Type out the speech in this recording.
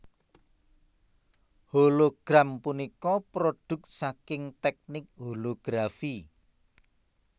Hologram punika prodhuk saking teknik holografi